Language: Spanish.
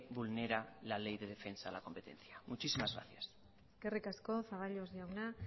vulnera la ley de defensa a la competencia muchísimas gracias eskerrik asko zaballos jauna